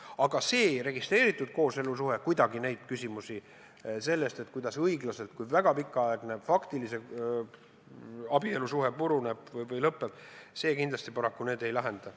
Aga see registreeritud kooselusuhe kuidagi neid küsimusi, kuidas õiglaselt lahku minna, kui väga pikaaegne faktiline abielusuhe puruneb või lõpeb, paraku kindlasti ei lahenda.